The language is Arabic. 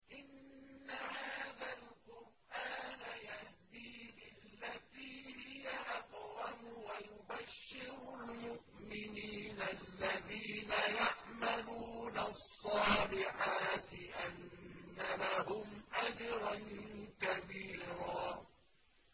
إِنَّ هَٰذَا الْقُرْآنَ يَهْدِي لِلَّتِي هِيَ أَقْوَمُ وَيُبَشِّرُ الْمُؤْمِنِينَ الَّذِينَ يَعْمَلُونَ الصَّالِحَاتِ أَنَّ لَهُمْ أَجْرًا كَبِيرًا